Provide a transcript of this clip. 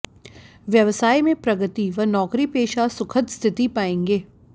व्यवसाय में प्रगति व नौकरीपेशा सुखद स्थिति पाएंगे